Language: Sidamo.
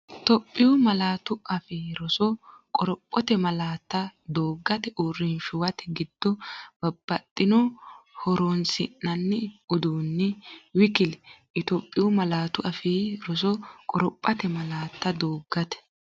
Itophiyu Malaatu Afii Roso Qorophote malaatta dooggate, uurrinshuwate giddo, babbaxxino horoon- si’nanni uduunni w k l Itophiyu Malaatu Afii Roso Qorophote malaatta dooggate,.